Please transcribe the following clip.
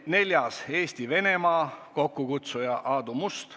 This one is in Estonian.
Neljandaks, Eesti-Venemaa, kokkukutsuja on Aadu Must.